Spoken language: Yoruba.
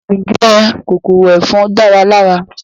Ǹjẹ́ kòkòrò ẹ̀fọn dára lára?